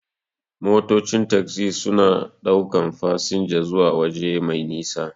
Motocin tagzi suna ɗaukan fasinja suwa waje mai nisa.